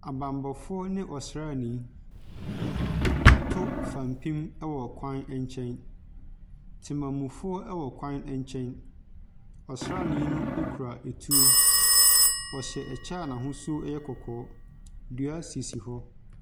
Abammɔfoɔ ne ɔsraani, wɔato fapem wɔ kwan nkyɛn. Temamufoɔ wɔ kwan nkyɛn. Ɔsraani no kura etuo. Ɔhyɛ ɔkyɛ a n'ahosuo yɛ kɔkɔɔ. Dua sisi hɔ.